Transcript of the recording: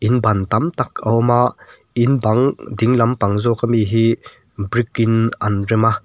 ban tam tak a awm a in bang ding lampang zawk ami hi brick in an rem a.